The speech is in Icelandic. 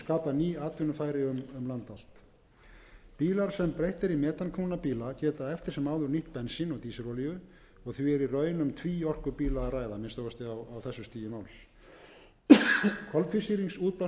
land allt bílar sem breytt er í metanknúna bíla geta eftir sem áður nýtt bensín og dísilolíu og því er í raun um tvíorkubíla að ræða að minnsta kosti á þessu stigi máls koltvísýringsútblástur frá